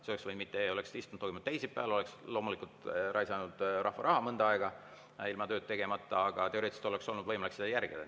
Siis ei oleks istung toimunud teisipäeval, oleks loomulikult raisatud rahva raha, mõnda aega me ei oleks tööd teinud, aga teoreetiliselt oleks olnud võimalik seda järgida.